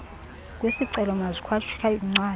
kwisicelo mazikhatshwe yincwadi